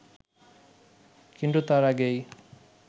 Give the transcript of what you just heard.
কিন্তু তার আগেই